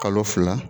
Kalo fila